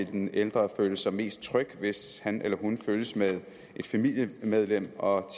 den ældre vil sig mest tryg hvis han eller hun følges af et familiemedlem og